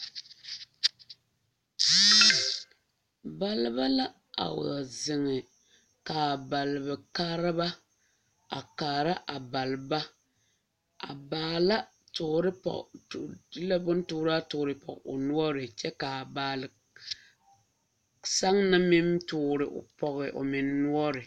Balba la a wa zeŋe ka a baalekaareba a kaara a balba a baala toore pɔge de la bontooraa toore pɔge o noɔre kyɛ ka a baalesaŋna meŋ toore pɔge o noɔre.